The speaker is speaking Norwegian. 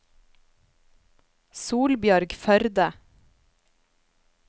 Solbjørg Førde